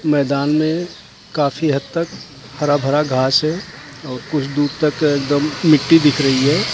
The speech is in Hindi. मैदान में काफी हद तक भरा भरा घास हैं कुछ दूर तक एकदम मिट्टी दिख रही हैं ।